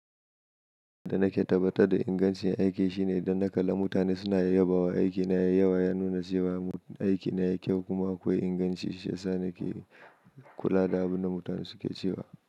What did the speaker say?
Da na ke tabbatar da ingancin aiki shine idan na kalla mutane suna yabawa, aiki na ya yi yawa, ya nuna cewa aiki na ya kyau kuma akwai inganci. Shiyasa nake kula da abin da mutane suke cewa.